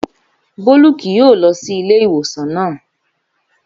Bólú kì yóò lọ sí ilé ìwòsàn naa